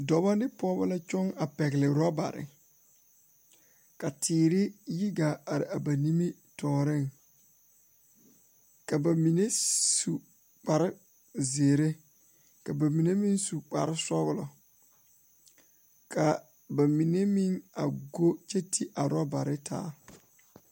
Dɔɔba ne pɔgeba la toɔ a pegle orobaare ka teere yigaa are a ba nimitɔɔre ka bamine su kpare ziiri ka bamine meŋ su kpare sɔglɔ ka bamine meŋ a do kyɛ te a orobaare taa.